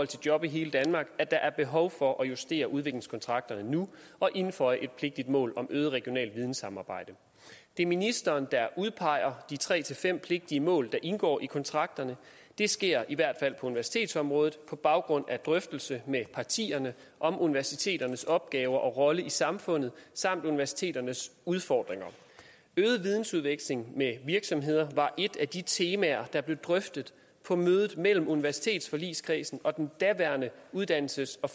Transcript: til job i hele danmark at der er behov for at justere udviklingskontrakterne nu og indføje et vigtigt mål om øget regionalt vidensamarbejde det er ministeren der udpeger de tre til fem pligtige mål der indgår i kontrakterne der sker i hvert fald på universitetsområdet på baggrund af drøftelse med partierne om universiteternes opgaver og rolle i samfundet samt universiteternes udfordringer øget vidensudveksling med virksomheder var et af de temaer der blev drøftet på mødet mellem universitetsforligskredsen og den daværende uddannelses og